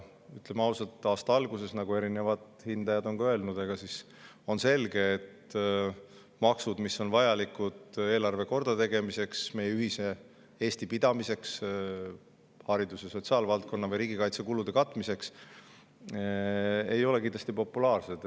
Ütleme ausalt, aasta alguses, nagu erinevad hindajad on ka öelnud, on selge, et maksud, mis on vajalikud eelarve kordategemiseks, meie ühise Eesti pidamiseks, haridus‑ ja sotsiaalvaldkonna või riigikaitsekulude katmiseks, ei ole kindlasti populaarsed.